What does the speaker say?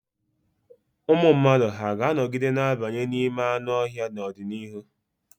Ụmụ mmadụ hà ga-anọgide na-abanye n'ime anụ ọhịa n'ọdịnihu?